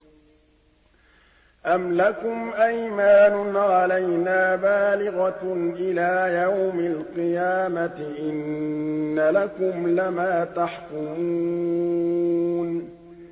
أَمْ لَكُمْ أَيْمَانٌ عَلَيْنَا بَالِغَةٌ إِلَىٰ يَوْمِ الْقِيَامَةِ ۙ إِنَّ لَكُمْ لَمَا تَحْكُمُونَ